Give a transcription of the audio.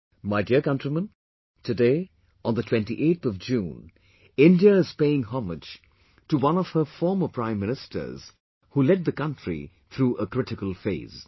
My dear countrymen, today on the 28th of June, India is paying homage to one of her former Prime Ministers, who led the country through a critical phase